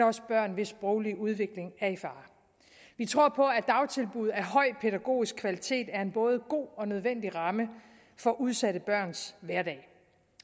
også børn hvis sproglige udvikling er i fare vi tror på at dagtilbud af høj pædagogisk kvalitet er en både god og nødvendig ramme for udsatte børns hverdag